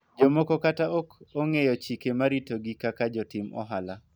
jomoko kata ok ong'eyo chike marito gi kaka jotim ohala